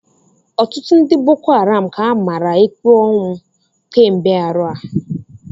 Ọtụtụ ndị bokoharam ka a mara ikpe ọnwụ kemgbe arọ a.